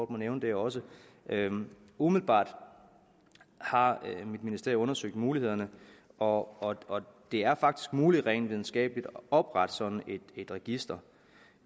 må nævne det også umiddelbart har ministeriet undersøgt mulighederne og og det er faktisk muligt rent videnskabeligt at oprette sådan et register